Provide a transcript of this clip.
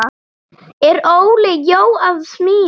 Er Óli Jó að smíða?